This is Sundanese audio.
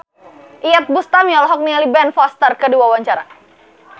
Iyeth Bustami olohok ningali Ben Foster keur diwawancara